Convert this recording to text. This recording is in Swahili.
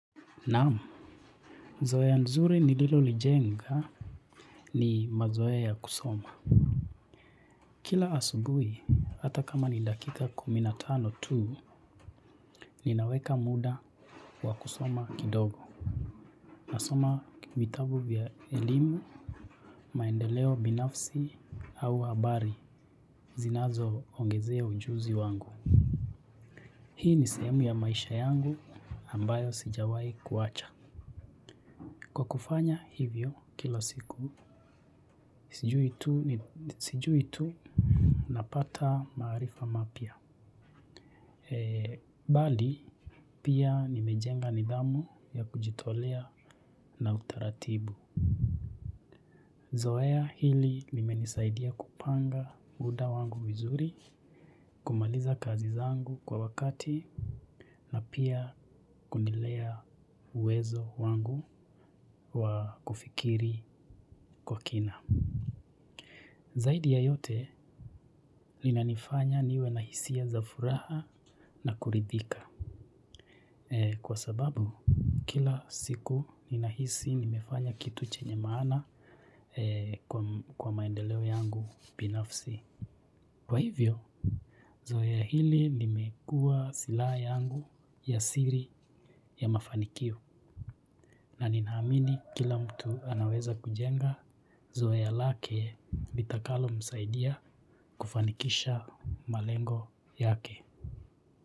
Naam zoea nzuri nililo lijenga ni mazoea ya kusoma kila asubui hata kama ni dakika kumi na tano tuu ninaweka muda wa kusoma kidogo nasoma vitabu vya elimu maendeleo binafsi au habari zinazo ongezea ujuzi wangu hii ni sehemu ya maisha yangu ambayo sijawai kuacha kwa kufanya hivyo kila siku sijui tuu ni sijui tuu. Napata maarifa mapya. Eee, bali pia nimejenga nidhamu ya kujitolea na utaratibu. Zoea hili limenisaidia kupanga muda wangu vizuri, kumaliza kazi zangu kwa wakati, na pia kunilea uwezo wangu wa kufikiri kwa kina. Zaidi ya yote linanifanya niwe na hisia za furaha na kuridhika. Kwa sababu kila siku ninahisi nimefanya kitu chenye maana kwa maendeleo yangu binafsi. Kwa hivyo, zoea hili limekuwa silaha yangu ya siri ya mafanikio. Na ninaamini kila mtu anaweza kujenga. Zoea lake litakalo msaidia kufanikisha malengo yake.